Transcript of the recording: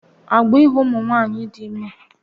Agbọọ ịhụ ụmụ nwaanyị dị ime